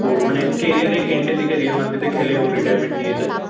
তো মানে carrier end এর দিকে রিয়েল মাদ্রিদে খেলে ও রিটায়ারমেন্ট নিয়েছে।